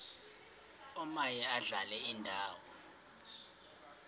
omaye adlale indawo